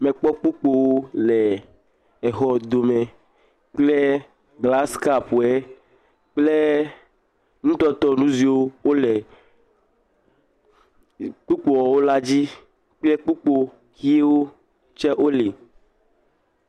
Akpa xɔme xɔme nye kpata me. Amedzroxɔzikpuiwo li. Ŋkuŋuŋui zikpuiwo. Axɔ zikpui ʋiwo li.